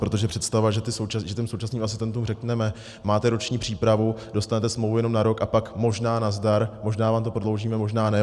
Protože představa, že těm současným asistentům řekneme: máte roční přípravu, dostanete smlouvu jenom na rok, a pak možná nazdar, možná vám to prodloužíme, možná ne...